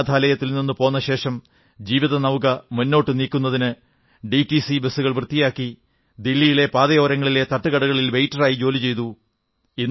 അനാഥാലയത്തിൽ നിന്ന് പോന്നതിനു ശേഷം ജീവിത വണ്ടി മുന്നോട്ടു നീക്കുന്നതിന് ഡിടിസി ബസുകൾ വൃത്തിയാക്കി ദില്ലിയിലെ പാതയോരങ്ങളിലെ തട്ടുകടകളിൽ വെയ്റ്ററായി ജോലി ചെയ്തു